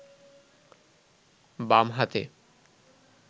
বাম হাতে